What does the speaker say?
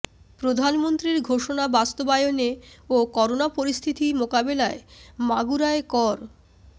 প্রধানমন্ত্রীর ঘোষণা বাস্তবায়নে ও করোনা পরিস্থিতি মোকাবিলায় মাগুরায় কর্